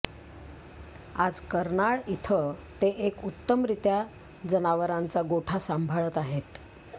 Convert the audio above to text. आज कर्नाळ इथं ते एक उत्तमरित्या जनावरांचा गोठा सांभाळत आहेत